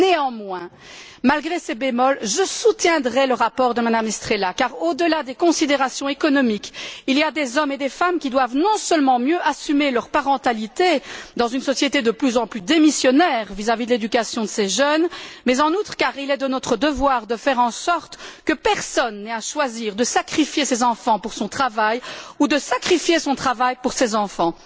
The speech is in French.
Néanmoins, malgré ce bémol, je soutiendrai le rapport de Mme Estrela non seulement car au delà des considérations économiques, il y a des hommes et des femmes qui doivent mieux assumer leur parentalité dans une société de plus en plus démissionnaire vis à vis de l'éducation de ses jeunes, mais aussi car il est de notre devoir de faire en sorte que personne n'ait à choisir de sacrifier ses enfants pour son travail ou de sacrifier son travail pour ses enfants.